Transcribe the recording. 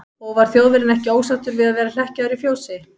Og var Þjóðverjinn ekki ósáttur við að vera hlekkjaður í fjósi?